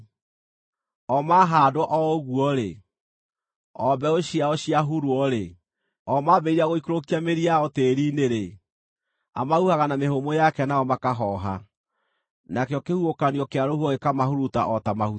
O mahaandwo o ũguo-rĩ, o mbeũ ciao ciahurwo-rĩ, o mambĩrĩria gũikũrũkia mĩri yao tĩĩri-inĩ-rĩ, amahuhaga na mĩhũmũ yake nao makahooha, nakĩo kĩhuhũkanio kĩa rũhuho gĩkamahuruta o ta mahuti.